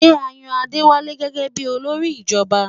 Ṣé à ó yan Adéwálé gẹ́gẹ bí olórí ìjọba?